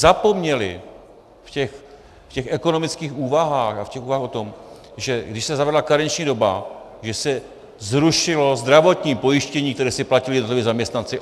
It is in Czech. Zapomněli v těch ekonomických úvahách a v těch úvahách o tom, že když se zavedla karenční doba, že se zrušilo zdravotní pojištění, které si platili jednotliví zaměstnanci.